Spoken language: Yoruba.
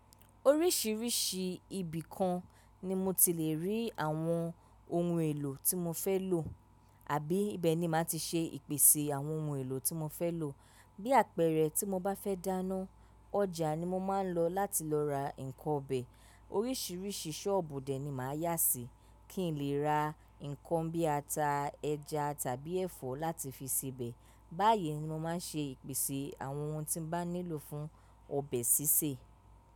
Oríṣiríṣi ibìkan ni mo ti lè rí àwọn ohun èlò tí mo fẹ́ lò àbí ibẹ̀ ni màá ti ṣe ìpèsè àwọn ohun èlò tí mo fẹ́ lò. Bí àpẹẹrẹ tí mo bá fẹ́ dáná, ọjà ni mo máa ń lọ láti lọ ra nnkan ọbẹ̀. Oríṣiríṣi ṣọ́ọ̀bù dẹ̀ ni màá yá sí, kí n lè ra nnkan bí ata, ẹja tàbí ẹ̀fọ́ láti fi sèbẹ̀. Báyìí ni mo máa ń ṣe ìpèsè àwọn ohun tí bàá nílò fún ọbẹ̀ sísè.